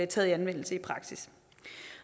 taget i anvendelse i praksis